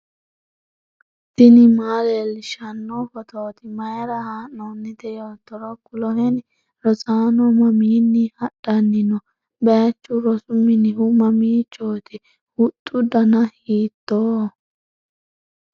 tini maa leellishshanno phootooti mayra haa'noonnite yoottoro kuloheni ? rosaano mamiinni hadanni no>? baychu rosu minihu mamiichooti ? huxxu dana hiittooho?